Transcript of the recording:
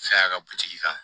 Saya ka buti kan